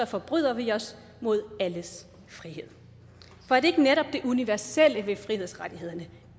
forbryder vi os mod alles frihed for er det ikke netop det universelle ved frihedsrettighederne